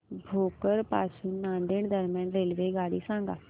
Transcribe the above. भोकर पासून नांदेड दरम्यान रेल्वेगाडी सांगा